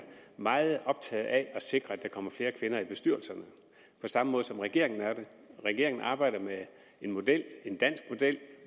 meget optaget af at sikre at der kommer flere kvinder ind i bestyrelserne på samme måde som regeringen er det regeringen arbejder med en model en dansk model